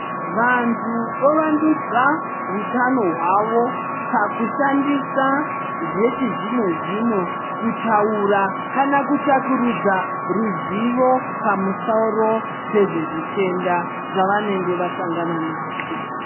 Vantu vovandudza hutano hwavo pakushandisa zvechizvino zvino kutaura kana kutsvakurudza ruzivo pamusoro pezvezvitenda zvavanenge vasangana nazvo.